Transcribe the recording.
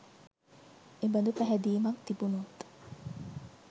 එබඳු පැහැදීමක් තිබුනොත්